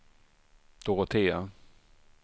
Dorotea